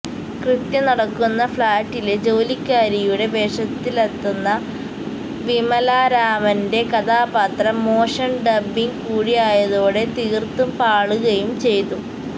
കൃത്യം നടക്കുന്ന ഫ്ളാറ്റിലെ ജോലിക്കാരിയുടെ വേഷത്തിലത്തെുന്ന വിമലാരാമന്റെ കഥാപാത്രം മോശം ഡബ്ബിങ്ങ് കൂടിയായതോടെ തീർത്തും പാളുകയും ചെയ്തു